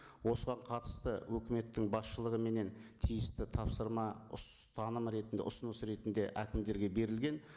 осыған қатысты өкіметтің басшылығыменен тиісті тапсырма ұстаным ретінде ұсыныс ретінде әкімдерге берілген